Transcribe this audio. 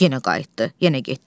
Yenə qayıtdı, yenə getdi.